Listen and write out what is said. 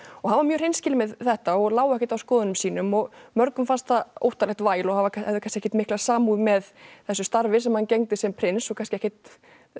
hann var mjög hreinskilinn með þetta og lá ekkert á skoðunum sínum og mörgum fannst það óttalegt væl og hafði kannski ekkert mikla samúð með þessu starfi sem hann gegndi sem prins og kannski ekkert